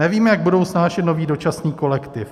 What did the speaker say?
Nevím, jak budou snášet nový dočasný kolektiv.